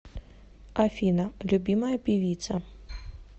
афина любимая певица